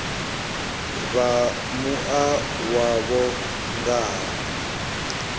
vha mua wavho nga ha